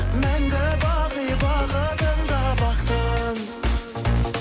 мәңгі бақи бақытында бақтың